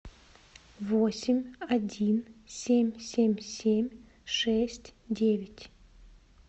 восемь один семь семь семь шесть девять